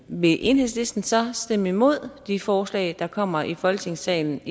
vil enhedslisten så stemme imod de forslag der kommer i folketingssalen